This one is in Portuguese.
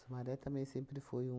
também sempre foi um...